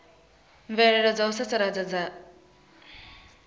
mvelelo dza u sasaladza dza